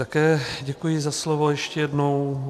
Také děkuji za slovo, ještě jednou.